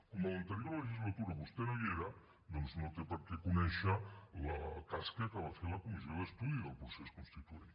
com en l’anterior legislatura vostè no hi era doncs no té per què conèixer la tasca que va fer la comissió d’estudi del procés constituent